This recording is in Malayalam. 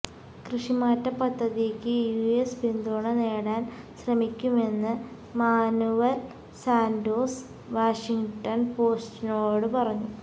കൃഷിമാറ്റ പദ്ധതിക്ക് യുഎസ് പിന്തുണ നേടാന് ശ്രമിക്കുമെന്ന് മാനുവല് സാന്റോസ് വാഷിങ്ടണ് പോസ്റ്റിനോടു പറഞ്ഞു